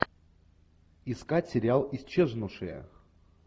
искать сериал исчезнувшая